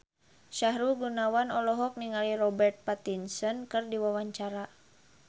Sahrul Gunawan olohok ningali Robert Pattinson keur diwawancara